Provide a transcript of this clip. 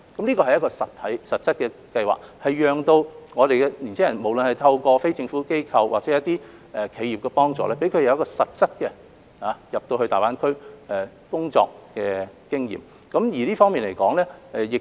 這是一個實質的計劃，讓年青人無論是透過非政府機構或企業的幫助，取得實際前往大灣區工作的經驗。